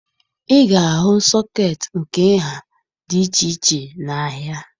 Ị ga-ahụ sọkeetị nke nha dị iche iche n'ahịa